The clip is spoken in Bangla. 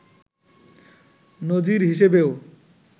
নজির হিসেবেও